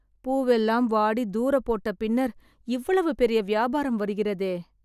பூவெல்லாம் வாடி, தூர போட்ட பின்னர், இவ்வளவு பெரிய வியாபாரம் வருகிறதே..